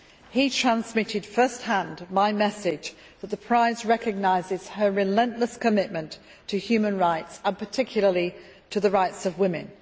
He transmitted first hand my message that the prize recognises her relentless commitment to human rights, and particularly to the rights of women.